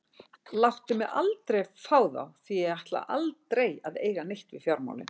Láttu mig aldrei fá þá því að ég ætla aldrei að eiga neitt við fjármálin.